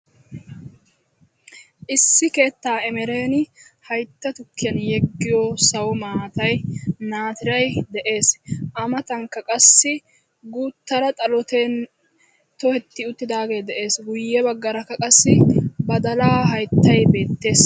Issi keetta immeren haytta tukkiyaan yeeggiya naatiray sawo maatay de'ees, a matankka qassi guuttara xalote toheti uttidaage de'ees. Guyyee baggaarakka qassi badala hayttay beettees.